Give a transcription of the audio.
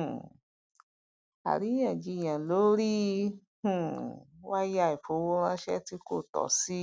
um àríyáǹjiyàn lórí um wáyà ìfowóránsé tí kò tọ sí